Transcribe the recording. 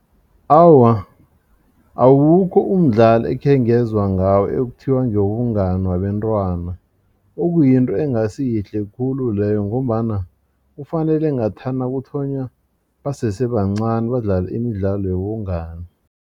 Awa, awukho umdlalo ekhengezwa ngawo ekuthiwa ngewobungani wabentwana okuyinto engasi yihle khulu leyo ngombana kufanele ngathana kuthonywa basese bancani badlale imidlalo yobungani.